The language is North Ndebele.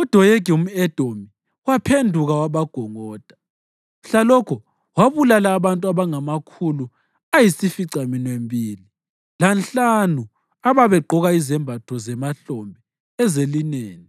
UDoyegi umʼEdomi waphenduka wabagongoda. Mhlalokho wabulala abantu abangamakhulu ayisificaminwembili lanhlanu ababegqoka izembatho zemahlombe ezelineni.